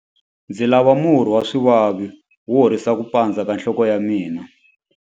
Ndzi lava murhi wa swivavi wo horisa ku pandza ka nhloko ya mina.